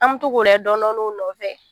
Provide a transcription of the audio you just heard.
An b'o to ko lajɛ dɔɔni dɔɔni u nɔfɛ.